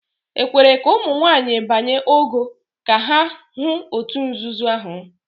"E kwere ka ụmụ nwanyị banye ""ogo" ka ha hụ òtù nzuzo ahụ?